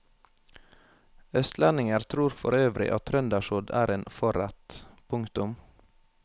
Østlendinger tror forøvrig at trøndersodd er en forrett. punktum